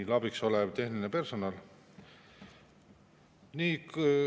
Meile abiks olev tehniline personal!